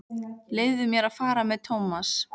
Leyfðu mér að fara með Thomas.